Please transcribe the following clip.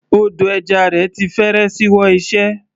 Odò ẹja rẹ̀ ti fẹ́rẹ̀ ṣíwọ́ iṣẹ́.